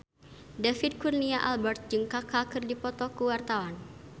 David Kurnia Albert jeung Kaka keur dipoto ku wartawan